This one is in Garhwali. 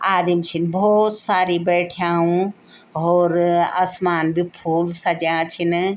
आदिम छिन भौत सारी बैठ्याँउ हौर असमान भी फूब सज्याँ छिन।